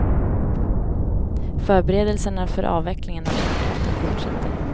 Förberedelserna för avvecklingen av kärnkraften fortsätter.